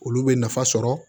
Olu bɛ nafa sɔrɔ